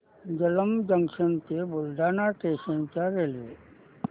Jalamb junction ते Buldhana station च्या railway